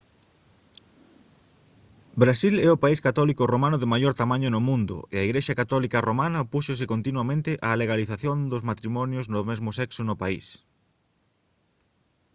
brasil é o país católico romano de maior tamaño do mundo e a igrexa católica romana opúxose continuamente á legalización dos matrimonios do mesmo sexo no país